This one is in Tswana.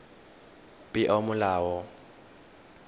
peomolao